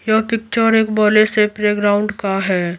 यह पिक्चर एक बले से प्लेग्राउंड का है।